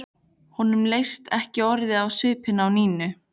Honum leist ekki orðið á svipinn á Nínu.